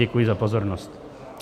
Děkuji za pozornost.